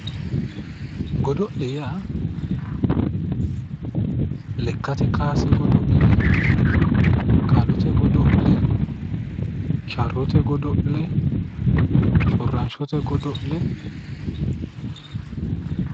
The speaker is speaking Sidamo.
godo'le yaa lekkate kaase godo'le qalete godo'le sharrote godo'le shshorranshote godo'le no.